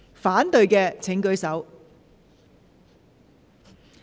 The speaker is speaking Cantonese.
反對的請舉手。